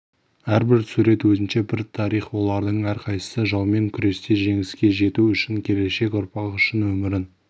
әрбір сурет өзінше бір тарих олардың әрқайсысы жаумен күресте жеңіске жету үшін келешек ұрпақ үшін өмірін